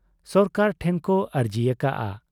ᱥᱚᱨᱠᱟᱨ ᱴᱷᱮᱱ ᱠᱚ ᱟᱨᱡᱤ ᱟᱠᱟᱜ ᱟ ᱾